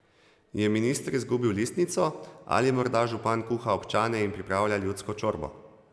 Je minister izgubil listnico, ali morda župan kuha občane in pripravlja ljudsko čorbo?